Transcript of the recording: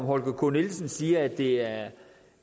holger k nielsen siger at det er et